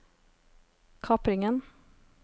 kapringen